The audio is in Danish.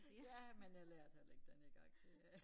Ja men jeg lærer det heller ikke denne gang det øh